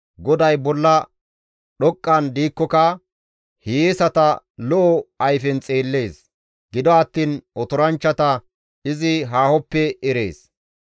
GODAY bolla dhoqqan diikkoka hiyeesata lo7o ayfen xeellees; gido attiin otoranchchata izi haahoppe erees.